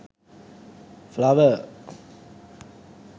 flower